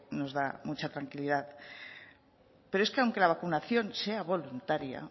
nos da mucha tranquilidad pero es que aunque la vacunación sea voluntaria